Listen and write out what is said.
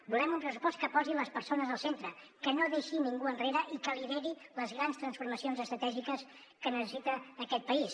volem un pressupost que posi les persones al centre que no deixi ningú enrere i que lideri les grans transformacions estratègiques que necessita aquest país